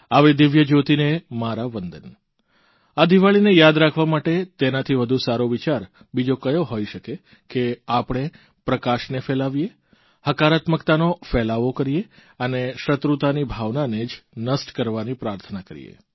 આવી દિવ્યજયોતિને મારા વંદન આ દીવાળીને યાદ રાખવા માટે તેનાથી વધુ સારો વિચાર બીજો કયો હોઇ શકે કે આપણે પ્રકાશને ફેલાવીએ હકારાત્મકતાનો ફેલાવો કરીએ અને શત્રુતાની ભાવનાને જ નષ્ટ કરવાની પ્રાર્થના કરીએ